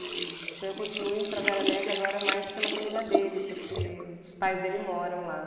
E, então, eu continuo indo para a Guaranésia agora mais pela família dele, porque os pais dele moram lá.